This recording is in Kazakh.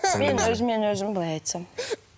мен өзімен өзім былай айтсам